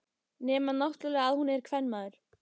Nema náttúrlega að hún er kvenmaður.